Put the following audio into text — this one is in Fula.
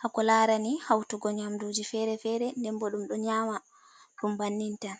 hako larani hautugo nyamduji fere-fere nden bo ɗum ɗo nyama ɗum bannin tan.